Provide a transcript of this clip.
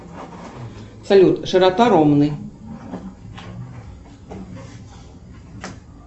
салют широта ромны